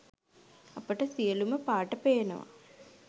අපිට සියලුම පාට පේනව